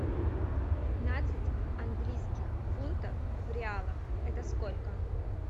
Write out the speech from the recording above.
пятнадцать английских фунтов в реалах это сколько